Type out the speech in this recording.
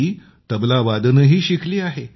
ती तबलावादनही शिकली आहे